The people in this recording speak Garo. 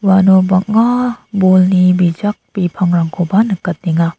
uano bang·a bolni bijak bipangrangkoba nikatenga.